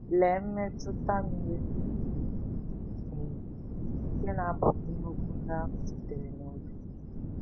Lee mmetụta miri emi nke na-agbakwunye okwu ndị ahụ sitere n’obi!